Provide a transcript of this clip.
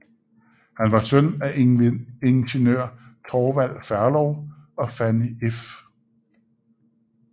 Han var søn af ingeniør Thorvald Ferlov og Fanny f